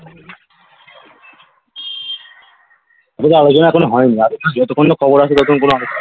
আলোচনা এখনো হয় নি যতক্ষন না খবর আসে ততক্ষন কোনো আলোচনা